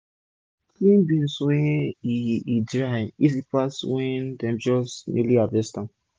to clean beans when e e dry dey easy pass when dem just newly harvest am